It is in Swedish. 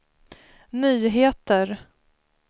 nyheter